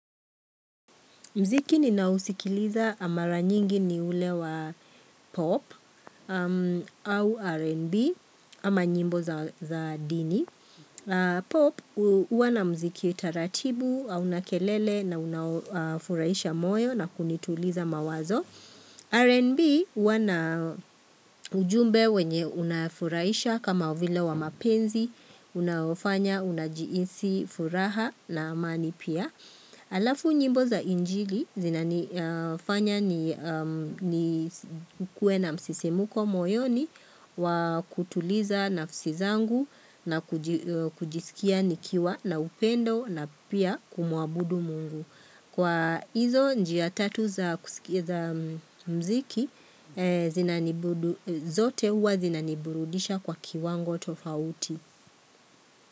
Mziki ninaousikiliza mara nyingi ni ule wa pop au R&B ama nyimbo za dini. Pop huwa na mziki taratibu au na kelele na unaofuraisha moyo na kunituliza mawazo. R&B huwa na ujumbe wenye unafurahisha kama vile wa mapenzi, unaofanya, unajihisi, furaha na amani pia. Alafu nyimbo za injili zinanifanya ni kuwe na msisimko moyoni wa kutuliza nafsi zangu na kujisikia nikiwa na upendo na pia kumuabudu mungu. Kwa hizo njia tatu za mziki zote huwa zina niburudisha kwa kiwango tofauti.